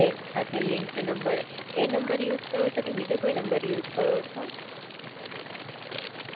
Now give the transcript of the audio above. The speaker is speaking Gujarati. એજ નંબર Use કરો ચો, એટલે જે નંબર બેંક માં Link છે એજ મોબાઈલ માં પણ Link છે